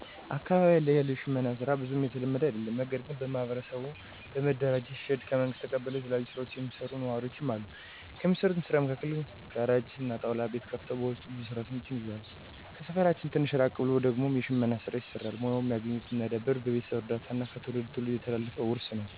አካባቢያችን ላይ የሽመና ሥራ ብዙም የተለመደ አደለም። ነገርግን በማህበር በመደራጀት ሼድ ከመንግስት ተቀብለው የተለያዩ ስራዎችን የሚሰሩ ነዋሪወች አሉ። ከሚሰሩት ስራም መካከል ጋራጅ እና ጣውላ ቤት ከፍተው በውስጣቸው ብዙ ሰራተኞችን ይዘዋል። ከሰፈራችን ትንሽ ራቅ ብሎ ደግሞ የሽመና ሥራ ይሰራሉ። ሙያውንም ያገኙት እና ያዳበሩት በቤተሰብ እርዳታ እና ከትውልድ ትውልድ የተላለፈ ውርስ ነው።